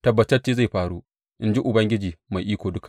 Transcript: Tabbatacce zai faru, in ji Ubangiji Mai Iko Duka.